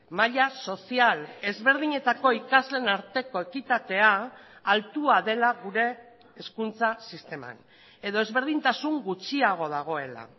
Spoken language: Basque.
maila sozial ezberdinetako ikasleen arteko ekitatea altua dela gure hezkuntza sisteman edo ezberdintasun gutxiago dagoela